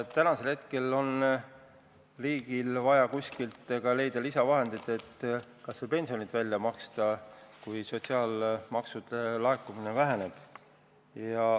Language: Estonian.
Tänasel hetkel on riigil vaja kuskilt leida lisavahendeid, et kas või pensionid välja maksta, kui sotsiaalmaksude laekumine väheneb.